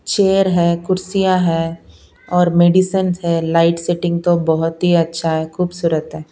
Chair है कुर्सियां है और मेडिसन है लाइट सेटिंग तो बहुत ही अच्छा है खूबसूरत है।